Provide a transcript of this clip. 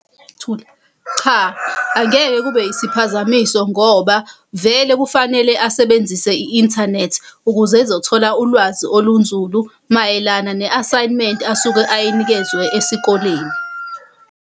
Thula. Cha, angeke kube isiphazamiso ngoba vele kufanele asebenzise i-inthanethi ukuze ezothola ulwazi olunzulu mayelana ne-asayimenti asuke ayinikezwe esikoleni.